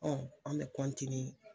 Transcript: an bɛ